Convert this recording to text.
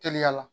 Teliya la